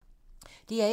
DR1